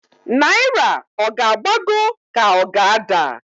Naira ọ g'agbago k'o g' ada?